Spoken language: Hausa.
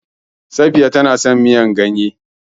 Safiya tana son miyar ganye.